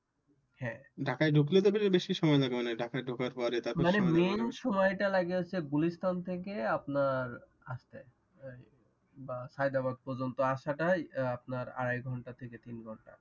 ঢাকায় ঢুকলে তো মনে হয় বেশি সময় লাগে মনে হয় ঢাকায় ঢুকার পরও মানে মেইন সময়টা লাগে গুলিস্তান থেকে আপনার আসতে সায়দাবাদ পর্যন্ত আসাটাই আপনার আড়াই ঘণ্টা থেকে তিন ঘণ্টা